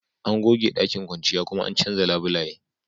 An goge ɗakin kwanciya kuma an canza labulaye